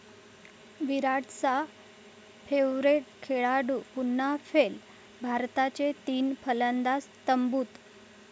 विराटचा 'favourite' खेळाडू पुन्हा fail, भारताचे तीन फलंदाज तंबूत